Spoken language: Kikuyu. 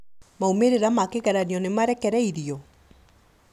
Maumĩrĩra ma kĩgeranio nĩmarekereirio?